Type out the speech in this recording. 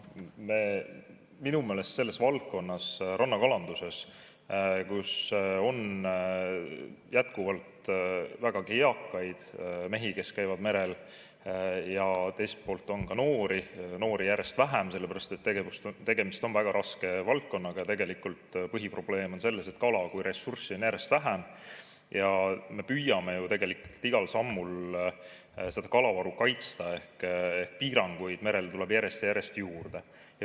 Minu meelest selles valdkonnas, rannakalanduses, kus on jätkuvalt vägagi eakaid mehi, kes käivad merel, ja teiselt poolt on ka noori, kuigi noori on järjest vähem, sellepärast et tegemist on väga raske valdkonnaga, on põhiprobleem selles, et kala kui ressurssi on järjest vähem, ja me püüame tegelikult igal sammul kalavaru kaitsta ehk piiranguid merel tuleb järjest ja järjest juurde.